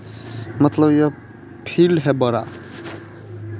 मतलब यह फील्ड है बड़ा --